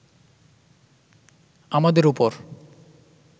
আমাদের ওপর